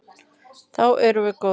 Þá erum við góðir.